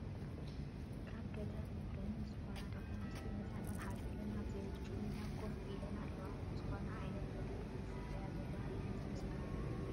ካብ ገጠር ወገን ዝኾና ደቂ ኣንስትዮ ህፃናት ሓዚለን ኣብዘይምቹ ሜዳ ኮፍ ኢለን ኣለዋ፡፡ ዝኾነ ዓይነት ረድኤት ይፅበያ ዘለዋ እየን ዝመስላ፡፡